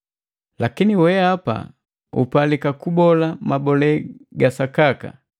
Lakini weapa upalika kubola mabole ga sakaka.